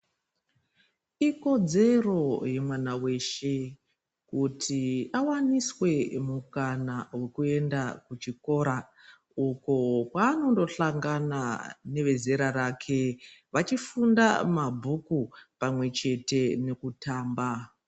Ikodzero yemwana wes kuti awaniswe mukana wekuenda kuchikora uko kwaanondosangana nevezera rake vachifunda mabhuku pamwechete nekutamba.